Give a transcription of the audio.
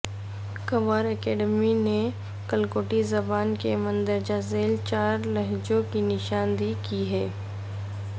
Khowar academy نے کلکوٹی زبان کے مندرجہ زیل چار لہجوں کی نشان دہی کی ہے